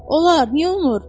Olar, niyə olmur?